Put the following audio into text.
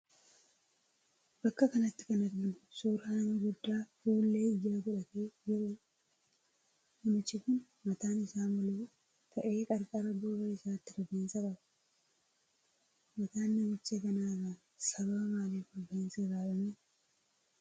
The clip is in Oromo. Bakka kanatti kan arginu suuraa nama guddaa fuullee ijaa godhatee jiruudha. Namichi kun mataan isa moluu ta'ee qarqara gurra isaatti rifeensa qaba. Mataan namicha kanaarra sababa maaliif rifeensi irraa dhume?